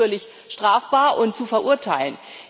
Betrug ist natürlich strafbar und zu verurteilen.